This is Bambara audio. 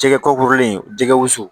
Jɛgɛ ko kurulen jɛgɛwsu